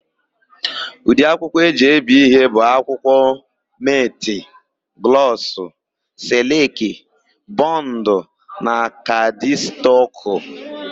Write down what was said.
Ụdị akwụkwọ e ji ebi ihe bụ akwụkwọ: metị, glọsụ, sịlịkị, bọndụ na kaadịstọkụ.